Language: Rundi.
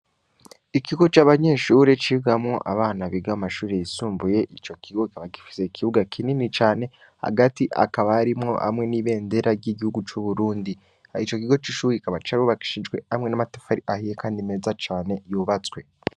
ikigo c'abanyeshure cigamwo abana biga mumashure y'isumbuye icokigo kikaba gifise ikibuga kinini cane hagati hakaba harimwo igiti hamwe n'ibendera vy'igihugu c'uburundi icokigo c'ishure carubakishijwe amwe n'amatafari ahiye kandi mezacane yubatswe